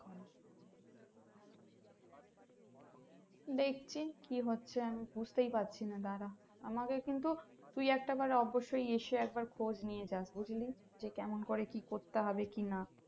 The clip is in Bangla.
দেখছি কি হচ্ছে আমি বুজতেই পারছি না দারা আমাকে কিন্তু তুই একটাবার অবশই এসে একটাবার খোঁজ নিয়ে যাস বুঝলি যে কেমন করা কি করতে হবে কি না